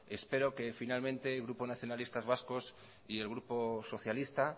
espero que finalmente el grupo nacionalistas vascos y el grupo socialista